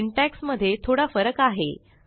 syntax मध्ये थोडा फरक आहे